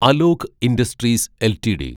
Alok industries LTD